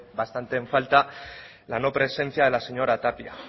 bastante en falta la no presencia de la señora tapia